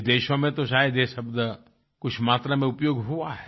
विदेशों में तो शायद ये शब्द कुछ मात्रा में उपयोग हुआ है